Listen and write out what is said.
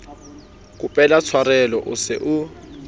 kopela tshwarelo o se o